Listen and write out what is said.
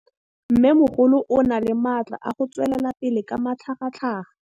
Mmêmogolo o na le matla a go tswelela pele ka matlhagatlhaga.